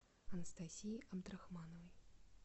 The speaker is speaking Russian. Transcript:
анастасии абдрахмановой